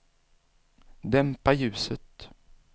dämpa ljuset